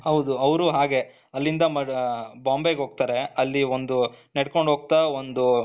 ಹೌದು ಅವರು ಹಾಗೆ ಅಲ್ಲಿಂದ ಮ ಬಾಂಬೆಗೆ ಹೋಗ್ತಾರೆ ಅಲ್ಲಿ ಒಂದು ನಡ್ಕೊಂಡು ಹೋಗ್ತಾ ಒಂದು .